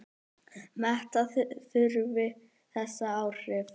Meta þurfi þessi áhrif.